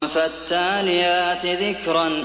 فَالتَّالِيَاتِ ذِكْرًا